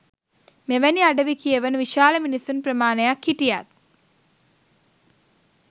මෙවැනි අඩවි කියවන විශාල මිනිසුන් ප්‍රමාණයක් හිටියත්